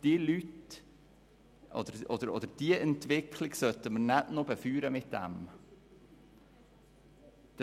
Diese Entwicklung sollten wir nicht noch mit dem Mindestlohn befeuern.